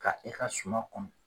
Ka e ka suma kɔnɔ